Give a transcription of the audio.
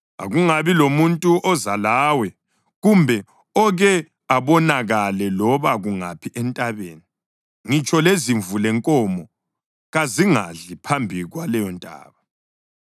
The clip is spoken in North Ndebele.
Akungabi lamuntu oza lawe kumbe oke abonakale loba kungaphi entabeni; ngitsho lezimvu lenkomo kazingadli phambi kwaleyontaba.”